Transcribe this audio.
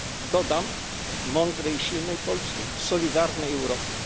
Dodam, mądrej i silnej Polski w solidarnej Europie.